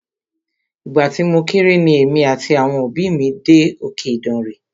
Ìgbà tí mo kéré ni èmi àti àwọn òbí mí dé òkè Ìdànre.